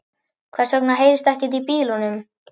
Hvers vegna heyrist ekkert í bílunum?